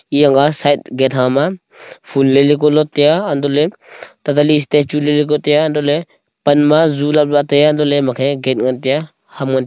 eyang nga side gate ha ma ful lai lai kua lot taiya antoh le ta tali statue lele kau taiya antoh le pan ma ju lap la ataiya antoh le ema khe gate ngan teya ham ngan--